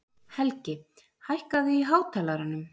Helgi, hækkaðu í hátalaranum.